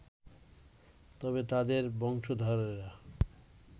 তবে তাদের বংশধরেরা